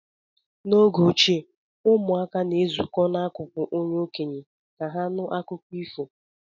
N'oge ochie, ụmụaka na-ezukọ n'akụkụ onye okenye ka ha nụ akụkọ ifo